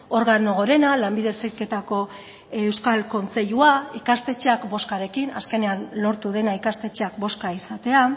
organo gorena lanbide heziketako euskal kontseilua ikastetxeak bozkarekin azkenean lortu dena ikastetxeak bozka izatea